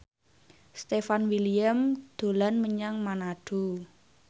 Stefan William dolan menyang Manado